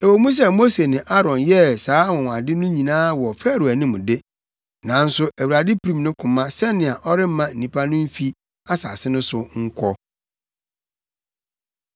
Ɛwɔ mu sɛ Mose ne Aaron yɛɛ saa anwonwade no nyinaa wɔ Farao anim de, nanso Awurade pirim ne koma sɛnea ɔremma nnipa no mfi asase no so nkɔ.